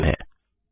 यह अंतिम है